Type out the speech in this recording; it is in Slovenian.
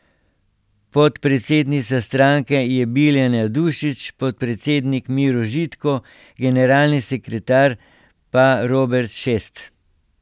Podpredsednica stranke je Biljana Dušić, podpredsednik Miro Žitko, generalni sekretar pa Robert Šest.